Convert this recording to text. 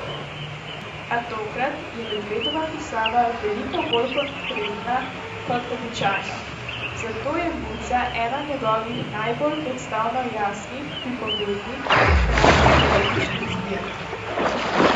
A tokrat je Medvedova pisava veliko bolj konkretna kot običajno, zato je Muca ena njegovih najbolj predstavno jasnih, pripovednih in hkrati poetičnih zbirk.